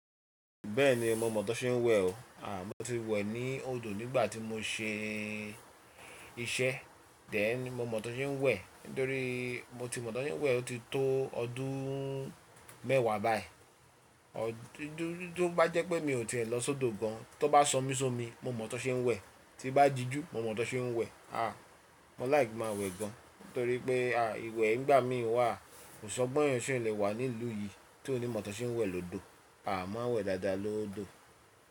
Bẹ́ẹ̀ni mo mọ̀ ọ́n ṣe ń wẹ̀ o. A mo ti wẹ̀ ní odò nígbà tí mo ṣe iṣẹ́, den mo mọ̀ ọ́n ṣe ń wẹ̀ nítorí mo ti mọ̀ ọ́n ṣe ń wẹ̀ ó ti tó ọdún mẹ́wàá báyìí. Tó bá jẹ́ pé mi ò ti e lọ sódo gan, tó bá sọ́mi sọ́mi mo mọ̀ tọ́n ṣe ń wẹ̀, tí bá diju mo mọ̀ tọ́n ṣe ń wẹ̀. A mo like kí n má wẹ̀ gan torí pé a ìwẹ̀ ìgbà mi wà kò san gbón ẹni tí ò lè wà ní ìlú yìí tí ò ní mọ̀ tọ́n ṣe ń wẹ̀ lọ́dọ̀. A máa ń wẹ̀ dáadáa lọ́dọ̀.